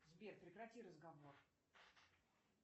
сбер прекрати разговор